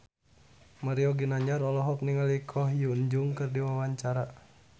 Mario Ginanjar olohok ningali Ko Hyun Jung keur diwawancara